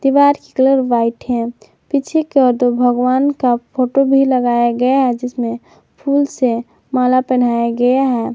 दीवार की colour white है पीछे की ओर दो भगवान का फोटो भी लगाया गया है जिसमें फूल से माला पहनाया गया है।